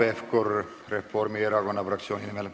Hanno Pevkur Reformierakonna fraktsiooni nimel.